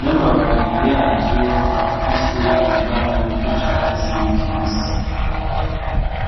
n'amababi yavyo ,afise ibara ry'icatsi kibisi.